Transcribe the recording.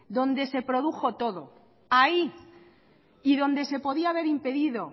donde se produjo todo ahí y donde se podía haber impedido